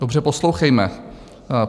Dobře poslouchejme.